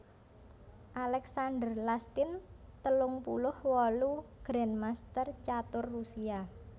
Alexander Lastin telung puluh wolu grandmaster catur Rusia